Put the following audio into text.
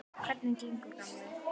Hvernig gengur, gamli